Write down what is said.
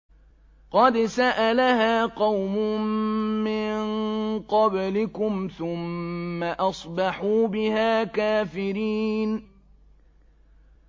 قَدْ سَأَلَهَا قَوْمٌ مِّن قَبْلِكُمْ ثُمَّ أَصْبَحُوا بِهَا كَافِرِينَ